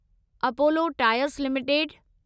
Apollo tyres limited